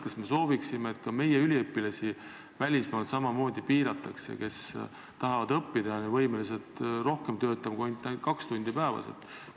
Kas me sooviksime, et ka meie üliõpilasi välismaal samamoodi piiratakse, kui nad tahavad seal õppida ja on võimelised töötama rohkem kui ainult kaks tundi päevas?